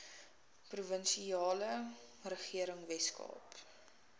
provinsiale regering weskaap